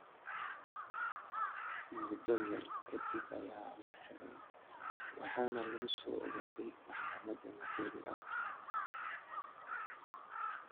Muddo yar ka dib ayaa la xidhay waxaana lagu soo oogay maxkamad madani ah.